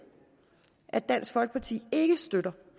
at dansk folkeparti ikke støtter